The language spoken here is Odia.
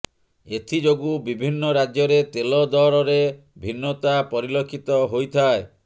ଏଥିଯୋଗୁ ବିଭିନ୍ନ ରାଜ୍ୟରେ ତେଲ ଦରରେ ଭିନ୍ନତା ପରିଲକ୍ଷିତ ହୋଇଥାଏ